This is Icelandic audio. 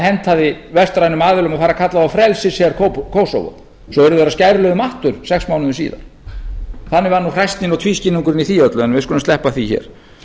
hentaði vestrænum aðilum að fara að kalla þá frelsisher kósóvó svo urðu þeir að skæruliðum aftur sex mánuðum síðar þannig var nú hræsnin og tvískinnungurinn í því öllu en við skulum sleppa því hér